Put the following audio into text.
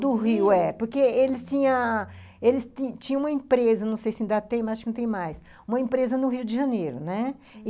Do Rio, é. Porque eles tinha eles tinham uma empresa, não sei se ainda tem, mas acho que não tem mais, uma empresa no Rio de Janeiro, né?